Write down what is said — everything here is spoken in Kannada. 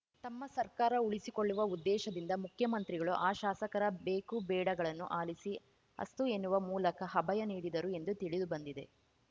ತಮ್ಮ ಸರ್ಕಾರ ಉಳಿಸಿಕೊಳ್ಳುವ ಉದ್ದೇಶದಿಂದ ಮುಖ್ಯಮಂತ್ರಿಗಳು ಆ ಶಾಸಕರ ಬೇಕು ಬೇಡಗಳನ್ನು ಆಲಿಸಿ ಅಸ್ತು ಎನ್ನುವ ಮೂಲಕ ಅಭಯ ನೀಡಿದರು ಎಂದು ತಿಳಿದು ಬಂದಿದೆ